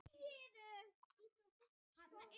Valdór, spilaðu lag.